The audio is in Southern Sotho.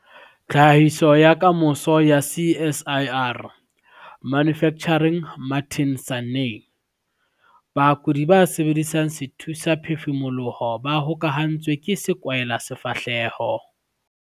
Tlhahiso ya Kamoso ya CSIR - Manufacturing Martin Sanne. Bakudi ba sebedisang sethusaphefumoloho ba hokahantswe ke sekwahelasefahleho.